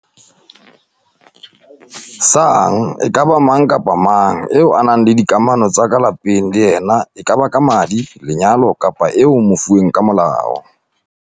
sang e ka ba mang kapa mang eo o nang le dikamano tsa ka lapeng le yena e kaba ka madi, lenyalo kapa eo o mofuweng ka molao.